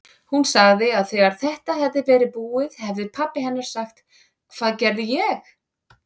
Hún sagði að þegar þetta hefði verið búið hefði pabbi hennar sagt: Hvað gerði ég?